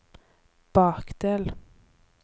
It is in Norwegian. bakdel